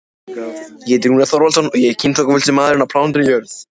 Allar lántökur varð að bera undir háskólaráð til samþykktar.